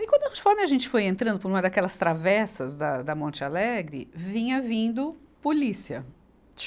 Aí, quando conforme a gente foi entrando por uma daquelas travessas da, da Monte Alegre, vinha vindo polícia.